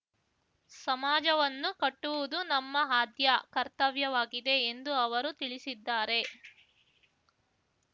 ಸಮಾಜವನ್ನು ಕಟ್ಟುವುದು ನಮ್ಮ ಆದ್ಯ ಕರ್ತವ್ಯವಾಗಿದೆ ಎಂದು ಅವರು ತಿಳಿಸಿದ್ದಾರೆ